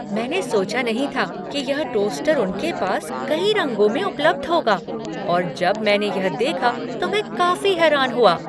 मैंने सोचा नहीं था कि यह टोस्टर उनके पास कई रंगों में उपलब्ध होगा और जब मैंने यह देखा तो मैं काफी हैरान हुआ।